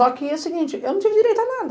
Só que é o seguinte, eu não tive direito a nada.